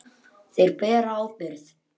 Þeir bera ábyrgð.